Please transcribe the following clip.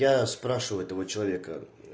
я спрашиваю этого человека